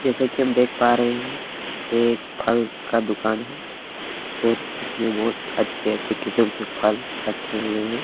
जैसा की हम देख पा रहे है एक फल का दूकान है और उसमे बोहोत अच्छे-अच्छे किस्म के फल रखे हुए है।